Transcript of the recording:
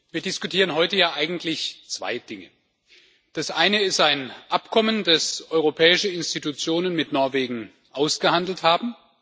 Wir diskutieren heute eigentlich zwei Dinge Das Eine ist ein Abkommen das Europäische Institutionen mit Norwegen ausgehandelt haben.